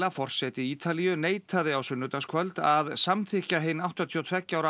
forseti Ítalíu neitaði á sunnudagskvöld að samþykkja hinn áttatíu og tveggja ára